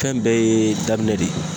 Fɛn bɛɛ ye daminɛ de ye.